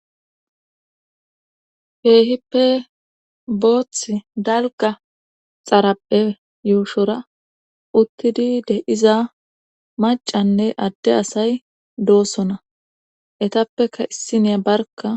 Keehippe boothth dalga xarapphe yuushora uttidi de iza macanne adde asay doosona etappeka issiniya barka.